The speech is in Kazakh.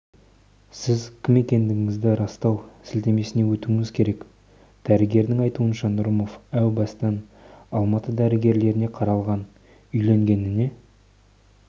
сіз кім екендігіңізді растау сілтемесіне өтуіңіз керек дәрігердің айтуынша нұрымов әу баста алматы дәрігерлеріне қаралған үйленгеніне